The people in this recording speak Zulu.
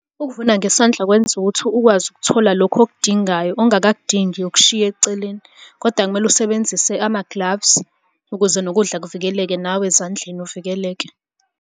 Ukuvuna ngesandla kwenza ukuthi ukwazi ukuthola lokhu okudingayo, ongakakudingi ukushiya eceleni, koda kumele usebenzise ama-gloves ukuze nokudla kuvikeleke nawe ezandleni uvikeleke.